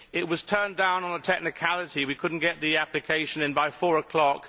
It was turned down on a technicality as we could not get the application in by four o'clock.